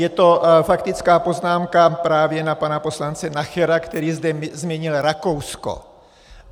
Je to faktická poznámka právě na pana poslance Nachera, který zde zmínil Rakousko.